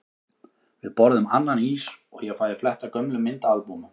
Við borðum annan ís og ég fæ að fletta gömlum myndaalbúmum.